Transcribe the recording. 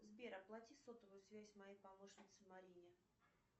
сбер оплати сотовую связь моей помощнице марине